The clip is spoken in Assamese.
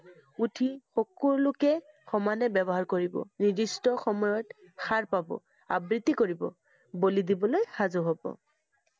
উঠি সক~লোকে সমানে ব্যৱহাৰ কৰিব। নিৰ্দিষ্ট সময়ত সাৰ পাব, আবৃত্তি কৰিব, বলি দিবলৈ সাজু হব।